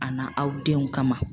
A na aw denw kama.